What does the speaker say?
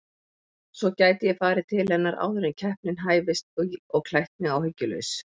Svo gæti ég farið til hennar áður en keppnin hæfist og klætt mig áhyggjulaus.